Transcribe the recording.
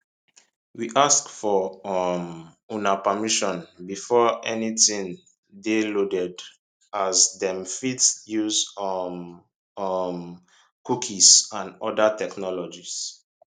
we ask for um una permission before anytin dey loaded as dem fit dey use um um cookies and oda technologies